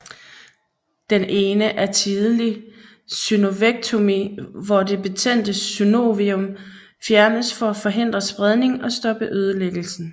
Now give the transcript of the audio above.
Den ene er tidligt synovektomi hvor det betændte synovium fjernes for at forhindre spredning og stoppe ødelæggelsen